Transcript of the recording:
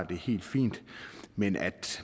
det er helt fint men at